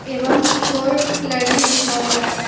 एवं core learning लिखा हुआ है।